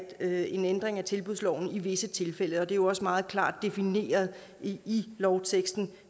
ændring af tilbudsloven i visse tilfælde det er jo også meget klart defineret i lovteksten